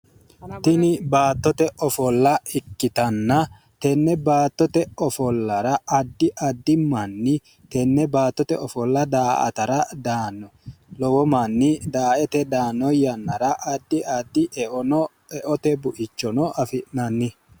tini baattote ofolla ikkitanna tenne baattote ofollara addi addi manni tenne baattote ofolla da"atara daanno lowo manni daa"ete daanno yannara addi addi e"o e"ote bu"ichono afai'nanni